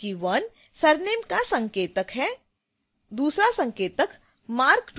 ध्यान दें कि 1 surname का संकेतक है